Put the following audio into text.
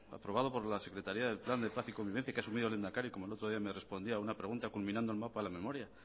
aprobado por la secretaria del plan de paz y convivencia que ha asumido el lehendakari como el otro día me respondía a una pregunta culminando el mapa de la memoria